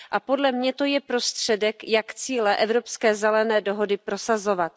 Podle mě je to prostředek, jak cíle evropské zelené dohody prosazovat.